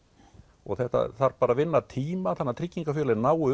og þetta þarf að vinna tíma þannig tryggingarfélögin nái